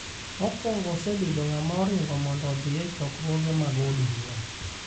mokwongo osebedo ng'ama oringo mondo odhi e chokruoge mag od bura